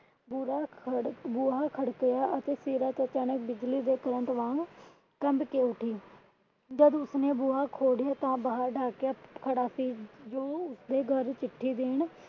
ਬੁਰਾ ਖੜਕ ਬੂਹਾ ਖੜਕਿਆ ਅਤੇ ਸੀਰਤ ਅਚਾਨਕ ਬਿਜਲੀ ਦੇ current ਵਾੰਗ ਕੰਬ ਕੇ ਉਠੀ। ਜੱਦ ਉਸਨੇ ਬੂਹਾ ਖੋਲਿਆ ਤਾਂ ਬਾਹਰ ਡਾਕੀਆ ਖੜਾ ਸੀ ਜੋ ਉਸਦੇ ਘਰ ਚਿੱਠੀ ਦੇਣ